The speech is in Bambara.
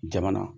Jamana